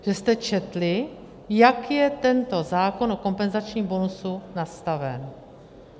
Že jste četli, jak je tento zákon o kompenzačním bonusu nastaven.